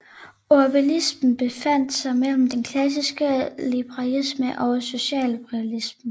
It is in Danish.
Ordoliberalismen befandt sig mellem den klassiske liberalisme og socialliberalismen